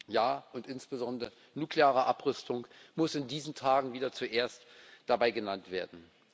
Ja, und insbesondere nukleare Abrüstung muss in diesen Tagen wieder zuerst dabei genannt werden.